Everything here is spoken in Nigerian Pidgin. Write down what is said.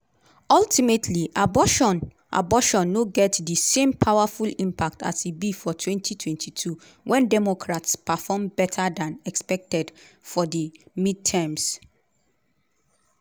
ultimately abortion abortion no get di same powerful impact as e be for 2022 wen democrats perform better dan expected for di midterms.